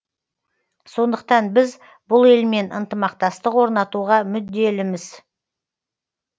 сондықтан біз бұл елмен ынтымақтастық орнатуға мүдделіміз